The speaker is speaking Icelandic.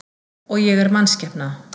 Og ég er mannskepna.